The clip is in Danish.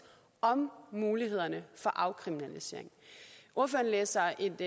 om mulighederne for afkriminalisering ordføreren læser et